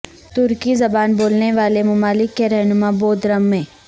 ترکی زبان بولنے والے ممالک کے رہنما بودرم میں